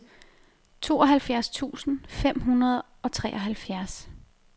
tooghalvfjerds tusind fem hundrede og treoghalvfjerds